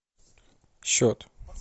счет